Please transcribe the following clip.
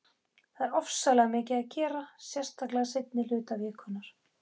Það er ofsalega mikið að gera, sérstaklega seinni hluta vikunnar.